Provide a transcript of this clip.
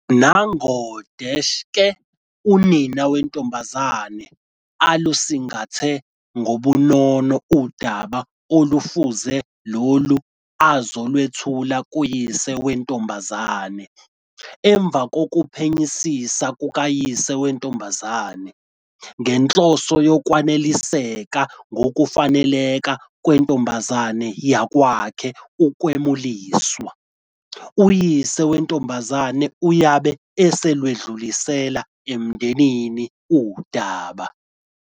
Ngakho-ke, unina wentombazane alusingathe ngobunono udaba olufuze lolu azolwethula kuyise wentombazane. Emva kokuphenyisisa kukayise wentombi, ngenhloso yokwaneliseka ngokufaneleka kwentombi yakwakhe ukwemuliswa, uyise wentombi uyabe eselwedlulisela emndenini udaba.